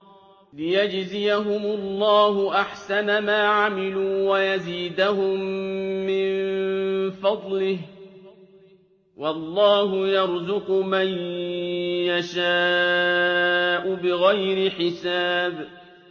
لِيَجْزِيَهُمُ اللَّهُ أَحْسَنَ مَا عَمِلُوا وَيَزِيدَهُم مِّن فَضْلِهِ ۗ وَاللَّهُ يَرْزُقُ مَن يَشَاءُ بِغَيْرِ حِسَابٍ